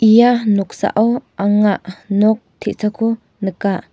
ia noksao anga nok te·sako nika.